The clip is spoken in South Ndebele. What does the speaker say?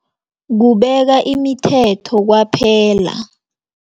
Kubeka imithetho kwaphela.